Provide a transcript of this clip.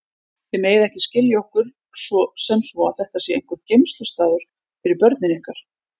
Þið megið ekki skilja okkur sem svo að þetta sé einhver geymslustaður fyrir börnin ykkar.